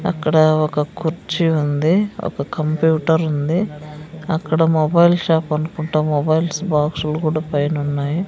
అక్కడ ఒక కుర్చీ ఉంది ఒక కంప్యూటర్ ఉంది అక్కడ మొబైల్ షాప్ అనుకుంట మొబైల్స్ బాక్స్ లు కూడా పైన ఉన్నాయి.